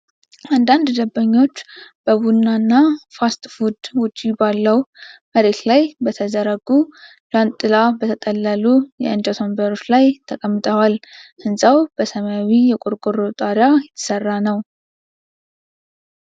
አንዳንድ ደንበኞች በቡና እና ፋስት ፉድ ውጪ ባለው መሬት ላይ በተዘረጉ፣ ጃንጥላ በተጠለሉ የእንጨት ወንበሮች ላይ ተቀምጠዋል። ሕንጻው በሰማያዊ የቆርቆሮ ጣሪያ የተሰራ ነው።